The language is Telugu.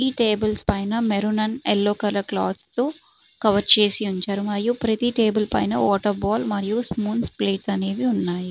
ఈ టేబుల్స్ పైన maroon and yellow colour cloth తో కవర్ చేసి ఉంచారు మరియు ప్రతి టేబుల్ పైన వాటర్ బాటిల్ మరియు స్పూన్స్ ప్లేట్స్ అనేవి ఉన్నాయి.